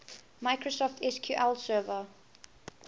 microsoft sql server